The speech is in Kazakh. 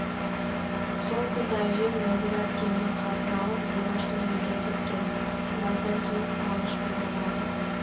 сол күні әжем нәзира әпкемнің хатын алып зибаштың үйіне кеткен біраздан кейін қуанышпен оралды